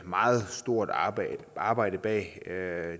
meget stort arbejde arbejde bag